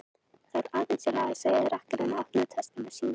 Það þarf aðeins að laga, sagði rakarinn og opnaði töskuna sína.